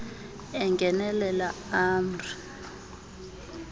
engenelela ah mr